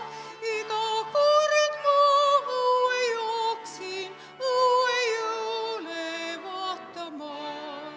Iga kord ma õue jooksin, õue jõule vaatama.